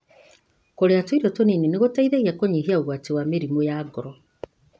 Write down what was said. Kũrĩa tũirio tũnini nĩ guteithagia kũnyihia ũgwati wa mĩrimũ ya ngoro.